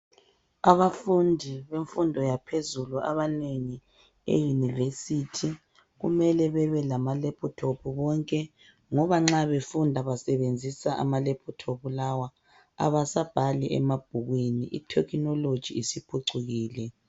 Abafundi bemfundo yaphezulu abanengi eYunivesi kumele bebelama"laptop" bonke ngoba nxa befunda basebenzisa ama "laptop" lawa. Abasabhali emabhukwini,i"technology " isiphucukile .